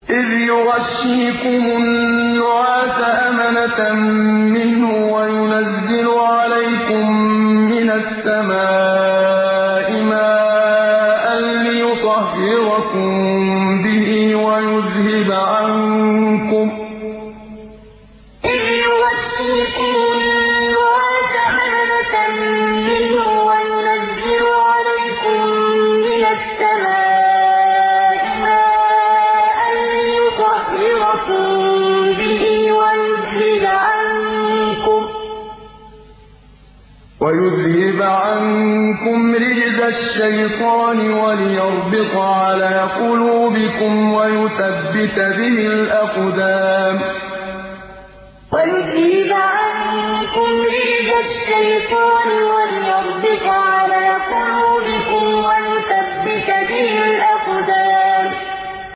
إِذْ يُغَشِّيكُمُ النُّعَاسَ أَمَنَةً مِّنْهُ وَيُنَزِّلُ عَلَيْكُم مِّنَ السَّمَاءِ مَاءً لِّيُطَهِّرَكُم بِهِ وَيُذْهِبَ عَنكُمْ رِجْزَ الشَّيْطَانِ وَلِيَرْبِطَ عَلَىٰ قُلُوبِكُمْ وَيُثَبِّتَ بِهِ الْأَقْدَامَ إِذْ يُغَشِّيكُمُ النُّعَاسَ أَمَنَةً مِّنْهُ وَيُنَزِّلُ عَلَيْكُم مِّنَ السَّمَاءِ مَاءً لِّيُطَهِّرَكُم بِهِ وَيُذْهِبَ عَنكُمْ رِجْزَ الشَّيْطَانِ وَلِيَرْبِطَ عَلَىٰ قُلُوبِكُمْ وَيُثَبِّتَ بِهِ الْأَقْدَامَ